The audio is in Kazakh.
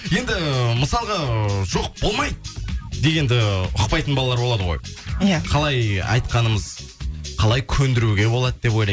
енді мысалға ыыы жоқ болмайды дегенді ұқпайтын балалар болады ғой иә қалай айтқанымыз қалай көндіруге болады деп